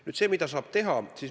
Nüüd sellest, mida saab teha.